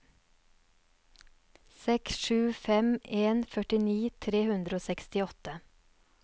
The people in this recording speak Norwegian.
seks sju fem en førtini tre hundre og sekstiåtte